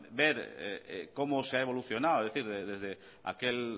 ver cómo se ha evolucionado es decir desde aquel